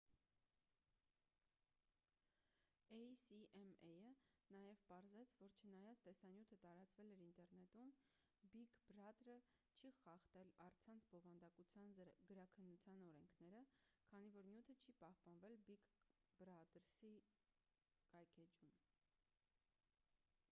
էյ-սի-էմ-էյը նաև պարզեց որ չնայած տեսանյութը տարածվել էր ինտերնետում բիգ բրադրը չի խախտել առցանց բովանդակության գրաքննության օրենքները քանի որ նյութը չի պահպանվել բիգ բրադրսի կայքէջում